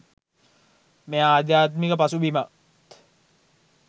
මේ අධ්‍යාත්මික පසුබිමත්